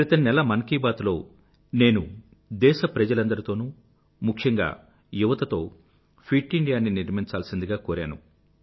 క్రితం నెల మన్ కీ బాత్ లో నేను దేశప్రజలందరితోనూ ముఖ్యంగా యువతతో ఫిట్ ఇండియాని నిర్మించాల్సిందిగా కోరాను